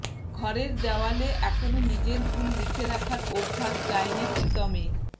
ঘরের দেওয়ালে এখনও নিজের ভুল লিখে রাখার অভ্যাস যায়নি প্রীতমের